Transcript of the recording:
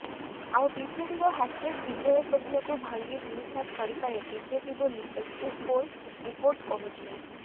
ଆଉ ବିଜେଡିର ହ୍ୟାଟ୍ରିକ୍ ବିଜୟ ସ୍ୱପ୍ନକୁ ଭାଙ୍ଗି ଧୂଳିସାତ କରିପାରେ ବିଜେପି ବୋଲି ଏକଜିଟ୍ ପୋଲ୍ ରିପୋର୍ଟ କହୁଛି